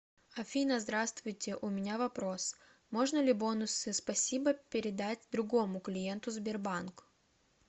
афина здравствуйте у меня вопрос можно ли бонусы спасибо передать другому клиенту сбербанк